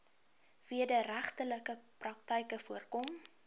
wederregtelike praktyke voorkom